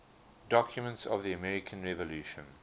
documents of the american revolution